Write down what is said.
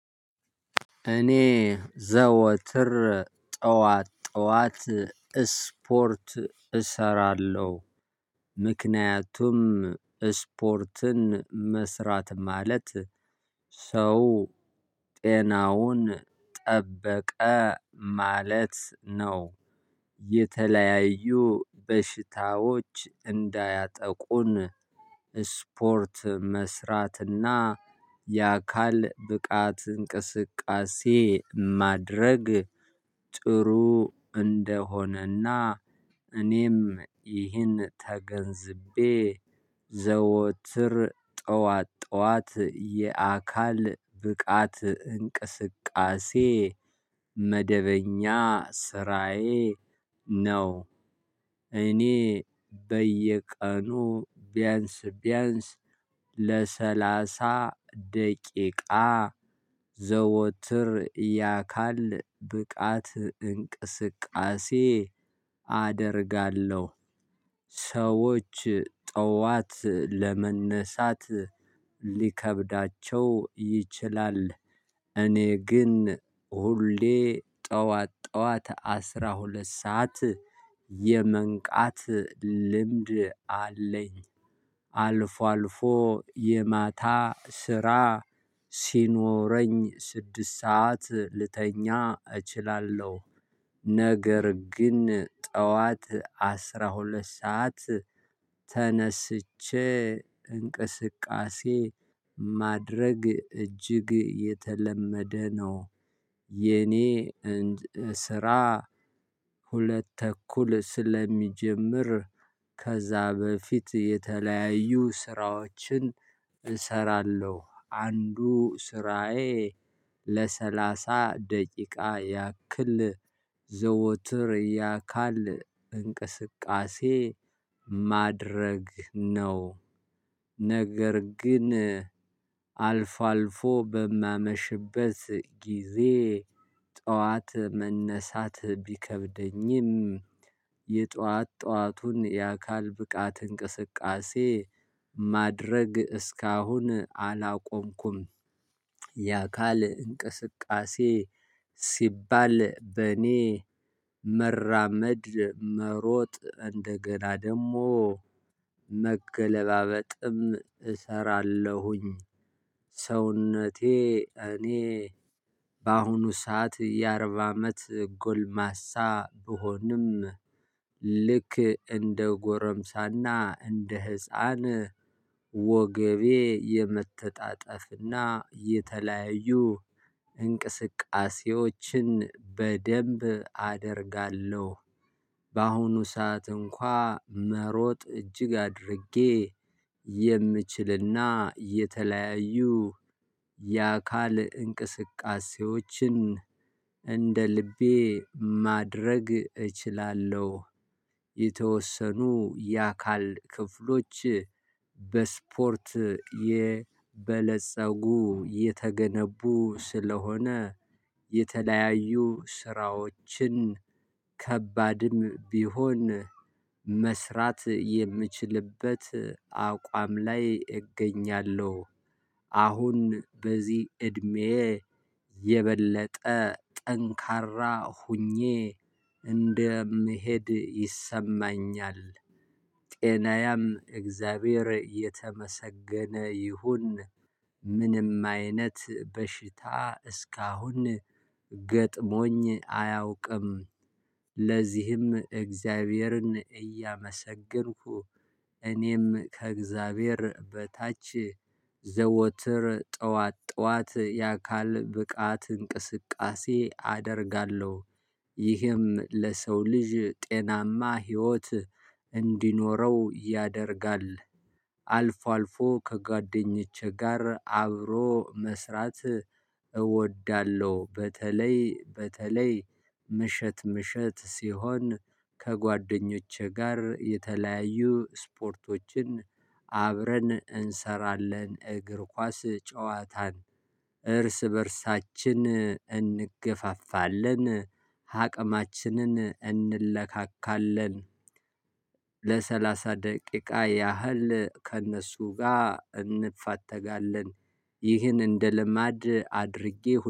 እኔ ዘወትር ጠዋት ጠዋት ስፖርት እሰራለሁ ምክንያቱም ስፖርትን መስራት ማለት ሰው ጤናውን ጠበቀ ማለት ነው። የተለያዩ በሽታዎች እንዳያጠቁን ስፖርት መስራትና የአካል ብቃት እንቅስቃሴ ማድረግ ጥሩ እንደሆነና እኔም ይህን ተገንዝቤ ዘወትር ጠዋት ጠዋት የአካል ብቃት እንቅስቃሴ መደበኛ ስራዬ ነው። እኔ በየቀኑ ቢያንስ ቢያንስ ለሰላሳ ደቂቃ ዘወትር የአካል ብቃት እንቅስቃሴ አደርጋለሁ። ሰዎች ጠዋት ለመነሳት ሊከብዳቸው ይችላል እኔ ግን ሁሌ ጠዋት ጠዋት አስራ ሁለት ሰዓት የመንቃት ልምድ አለኝ። አልፎ አልፎ የማታ ስራ ሲኖረኝ ስድስት ሰዓት ልተኛ እችላለሁ። ነገር ግን ጠዋት አስራ ሁለት ሰዓት ተነስቼ እንቅስቃሴ ማድረግ እጅግ የተለመደ ነው። የኔ እንድ ስራ ሁለት ተኩል ስለሚጀምር ከዛ በፊት የተለያዩ ስራዎችን እሰራለሁ። አንዱ ስራዬ ለሰላሳ ደቂቃ ያክል ዘወትር የአካል እንቅስቃሴ ማድረግ ነው። ነገር ግን አልፎ አልፎ በማመሽበት ጊዜ ጠዋት መነሳት ቢከብደኝም የጧት ጧቱን የአካል ብቃት እንቅስቃሴ ማድረግ እስካሁን አላቆምኩም። የአካል እንቅስቃሴ ሲባል በእኔ መራመድ መሮጥ እንደገና ደግሞ መገለባበጥም እሰራለሁኝ። ሰውነቴ እኔ በአሁኑ ሰዓት የአርባ አመት ጎልማሳ ብሆንም ልክ እንደ ጎረምሳና እንደ ህፃን ወገቤ የመተጣጠፍና የተለያዩ እንቅስቃሴዎችን በደንብ አደርጋለሁ። በአሁኑ ሰዓት እንኳን መሮጥ እጅግ አድርጌ የምችልና የተለያዩ የአካል እንቅስቃሴዎችን እንደ ልቤ ማድረግ እችላለሁ። የተወሰኑ የአካል ክፍሎች በስፖርት የበለፀጉ የተገነቡ ስለሆነ የተለያዩ ስራዎችን ከባድም ቢሆን መስራት የምችልበት አቋም ላይ እገኛለሁ። አሁን በዚህ እድሜ የበለጠ ጠንካራ ሆኜ እንደምሄድ ይሰማኛል። ጤናየም እግዚአብሔር የተመሰገነ ይሁን። ምንም አይነት በሽታ እስካሁን ገጥሞኝ አያውቅም። ለዚህም እግዚአብሔርን እያመሰገንኩ እኔም ከእግዚአብሔር በታች ዘወትር ጠዋት ጠዋት የአካል ብቃት እንቅስቃሴ አደርጋለሁ። ይህም ለሰው ልጅ ጤናማ ህይወት እንዲኖረው ያደርጋል። አልፎ አልፎ ከጓደኞቼ ጋር አብሮ መስራት እወዳለሁ። በተለይ በተለይ ምሽት ምሽት ሲሆን ከጓደኞቼ ጋር የተለያዩ ስፖርቶችን አብረን እንሰራለን እግር ኳስ ጨዋታን እርስ በእርሳችን እንገፋፋለን አቅማችንን እንለካካለን። ለሰላሳ ደቂቃ ያህል ከእነሱ ጋር እንፋተጋለን ይህን እንደ ልማድ አድርጌ